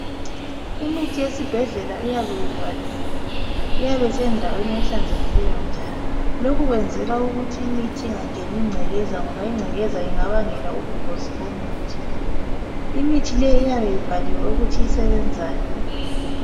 Imithi yesibhedlela iyabe ivaliwe. Iyabe isendaweni ehlanzekileyo njalo. Lokhu kwenzelwa ukuthi imithi ingangeni ingcekeza ngoba ingcekeza ingabangela ubungozi bomuthi. Imithi leyi iyabe ibhaliwe ukuthi isebenzani.